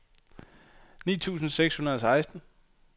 ni tusind seks hundrede og seksten